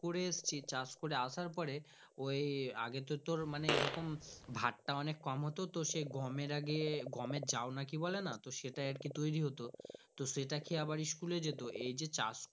করে আসছি চাষ করে আসার পরে ইও আগে তো তোর মানে আগে তো তোর এরকম ভাত টা অনেক কম হতো সেই গমের আগে গমের জাউ কি বলেনা সেটা আর কি তৌরি হতো সেটা খেয়ে আবার school এ যেত এই যে চাষ।